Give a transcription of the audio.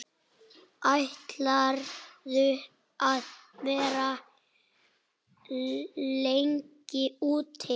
Ætlarðu að vera lengi úti?